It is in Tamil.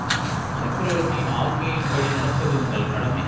சக்கரவர்த்தியின் ஆக்ஞையின் படி நடப்பது உங்கள் கடமை